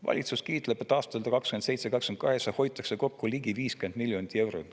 Valitsus kiitleb, et aastatel 2027 ja 2028 hoitakse kokku ligi 50 miljonit eurot.